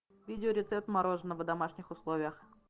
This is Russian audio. видео рецепт мороженого в домашних условиях